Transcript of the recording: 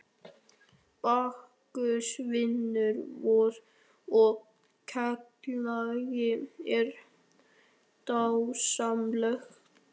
Bakkus vinur vor og félagi er dásamlegur.